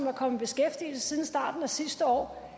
er kommet i beskæftigelse siden starten af sidste år